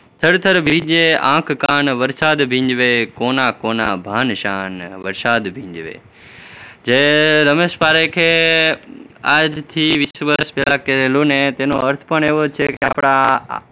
થરથર ભીંજે આંખ-કાન વરસાદ ભીંજવે કોના કોના ભાન શાન વરસાદ ભીંજવે જે રમેશ પારેખે આજથી વીસ વર્ષ પહેલા કહેલું ને એનો અર્થ પણ એવો છે કે આપણા